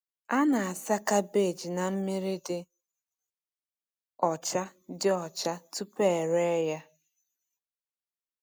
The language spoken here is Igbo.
A na-asa kabeeji na mmiri dị ọcha dị ọcha tupu e ree ya.